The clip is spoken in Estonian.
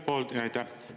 Jaa, aitäh!